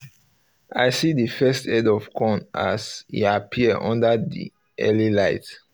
i see the first head of corn as e appear under the early light